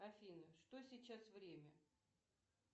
афина что сейчас время